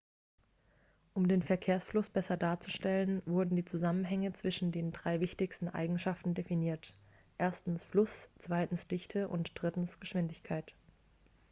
um den verkehrsfluss besser darzustellen wurden die zusammenhänge zwischen den drei wichtigsten eigenschaften definiert: 1 fluss 2 dichte und 3 geschwindigkeit